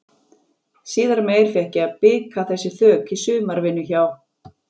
Síðar meir fékk ég að bika þessi þök í sumarvinnu hjá